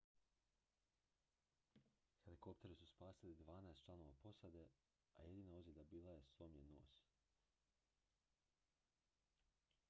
helikopteri su spasili dvanaest članova posade a jedina ozljeda bio je slomljen nos